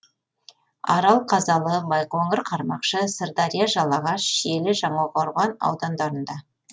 арал қазалы байқоңыр қармақшы сырдария жалағаш шиелі жаңақорған аудандарында